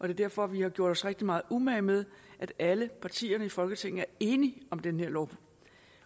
er derfor vi har gjort os rigtig meget umage med at alle partierne i folketinget er enige om den her lov